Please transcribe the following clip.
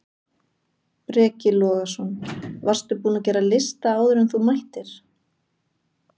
Breki Logason: Varstu búinn að gera lista áður en þú mættir?